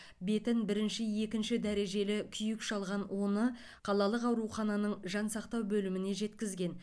бетін бірінші екінші дәрежелі күйік шалған оны қалалық аурухананың жансақтау бөліміне жеткізген